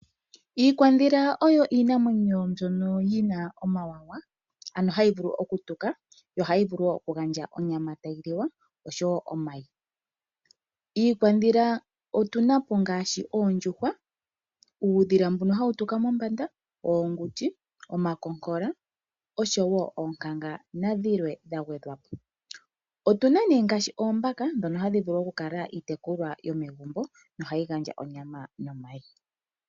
Iikwadhila oyo iinamwenyo mbyoka yina omawanawa hayi vulu oku tuka yo hayi vulu wo oku gandja onyama yoku liwa oshowo omayi. Iikwadhila otuna po ngaashi oondjuhwa, uudhila mbono hawu tuka mombanda, oonguti, omakonkola oshowo oonkanga nadhilwe dha gwedhwa po. Otuna po yimwe ngaashi oombaka dhono hadhi vulu oku tekulwa megumbo nohadhi gandja onyama nomayi.